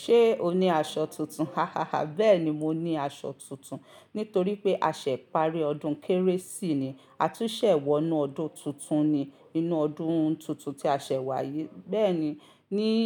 Ṣé o ní aṣọ tuntun? Hahaha. Bẹ́ẹ̀ni, mo ní aṣọ tuntun. Nítorí pé a ṣẹ̀ parí ọdún kérésì ni, a tún ṣẹ̀ wọ inú ọdún tuntun ni. Inú ọdún tuntun tí a ṣẹ̀ wá yìí. Bẹ́ẹ̀ni, níí,